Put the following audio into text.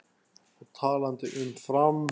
Og talandi um Fram.